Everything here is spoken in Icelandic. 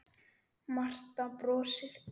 Marta brosir.